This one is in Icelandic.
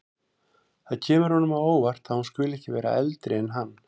Það kemur honum á óvart að hún skuli vera eldri en hann.